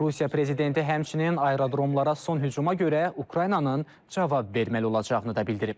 Rusiya prezidenti həmçinin aerodromlara son hücuma görə Ukraynanın cavab verməli olacağını da bildirib.